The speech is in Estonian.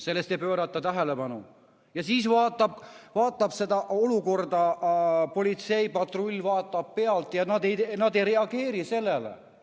Sellele ei pöörata tähelepanu ja seda olukorda politseipatrull vaatab pealt ja nad ei reageeri sellele.